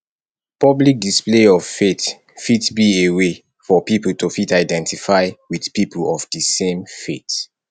public display of faith fit be a way for pipo to fit identify with people of di same faith